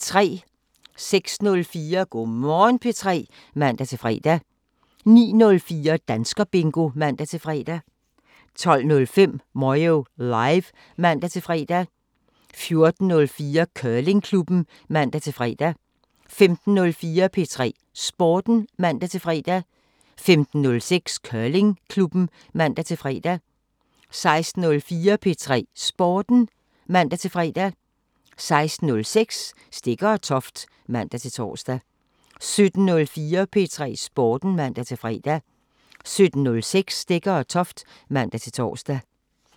06:04: Go' Morgen P3 (man-fre) 09:04: Danskerbingo (man-fre) 12:05: Moyo Live (man-fre) 14:04: Curlingklubben (man-fre) 15:04: P3 Sporten (man-fre) 15:06: Curlingklubben (man-fre) 16:04: P3 Sporten (man-fre) 16:06: Stegger & Toft (man-tor) 17:04: P3 Sporten (man-fre) 17:06: Stegger & Toft (man-tor)